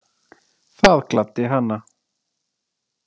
Það gladdi hana.